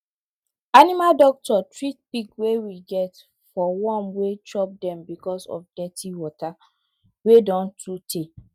animal doctor treat pig wey we get for worm wey chop dem because of dirty water wey don too tey